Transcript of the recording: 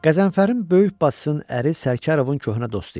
Qəzənfərin böyük bacısının əri Sərkarovun köhnə dostu idi.